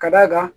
Ka d'a kan